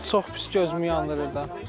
Çox pis gözümü yandırır da.